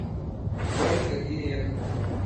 ольга ирековна